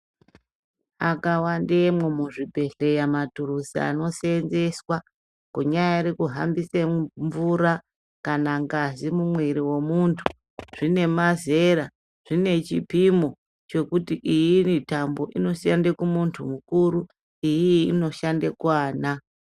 Akawandemwo muzvibhodhlera maturuzi anoseenzeswa kunyari kuhambise mvura kana ngazi momwiri womuntu. Zvinemazera , zvinechipimo chekuti iyi iritambo inoshande kumuntu mukuru iiyi inoshande kuana.